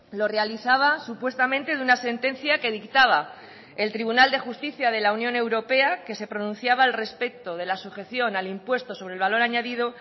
lo realizaba supuestamente de una sentencia que dictaba el tribunal de justicia de la unión europea que se pronunciaba al respecto de la sujeción al impuesto sobre el valor añadido